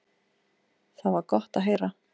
Það var gott að heyra.